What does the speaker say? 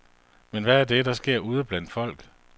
Men hvad er det, der sker ude blandt folk?